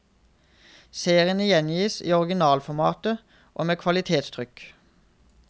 Seriene gjengis i originalformat og med kvalitetstrykk.